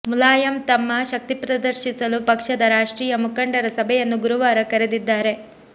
ಮುಲಾಯಂ ತಮ್ಮ ಶಕ್ತಿಪ್ರದರ್ಶಿಸಲು ಪಕ್ಷದ ರಾಷ್ಟ್ರೀಯ ಮುಖಂಡರ ಸಭೆಯನ್ನು ಗುರುವಾರ ಕರೆದಿದ್ದಾರೆ